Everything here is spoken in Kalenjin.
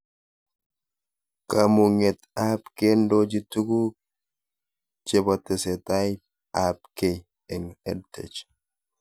Kamug'et ab kendochi tug'uk chepo tesetai ab kei eng' EdTech